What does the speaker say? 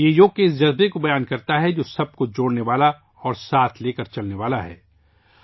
یہ یوگا کے اس جذبہ کی عکاسی کرتا ہے جو سب کو جوڑنے والا اور سبھی کو ساتھ لے کر چلنے والا ہے